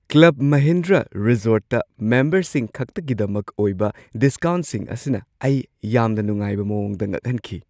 Club Mahindra ꯔꯤꯖꯣꯔꯠꯇ ꯃꯦꯝꯕꯔꯁꯤꯡꯈꯛꯇꯒꯤꯗꯃꯛ ꯑꯣꯏꯕ ꯗꯤꯁꯀꯥꯎꯟꯠꯁꯤꯡ ꯑꯁꯤꯅ ꯑꯩ ꯌꯥꯝꯅ ꯅꯨꯡꯉꯥꯏꯕ ꯃꯑꯣꯡꯗ ꯉꯛꯍꯟꯈꯤ꯫